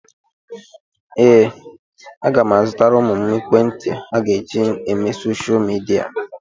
Ee, aga m azụtara ụmụ m ekwentị ha ga-eji eme soshal midia.